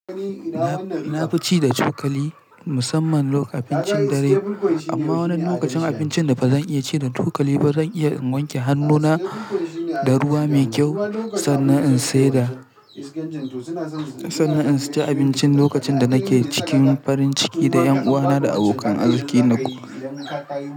Na fi ci da cokali musamman lokacin abincin dare, amma wani lokacin abincin da ba zan iya ci da cokali ba zan iya in wanke hannuna da ruwa mai kyau sannan in ci abinci lokacin da nake cikin farin ciki da ƴanuwana da abokan arziki na.